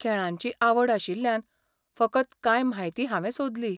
खेळांची आवड आशिल्ल्यान फकत कांय म्हायती हांवे सोदली.